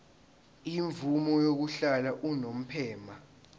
imvume yokuhlala unomphema